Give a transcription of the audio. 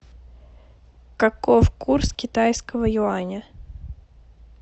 каков курс китайского юаня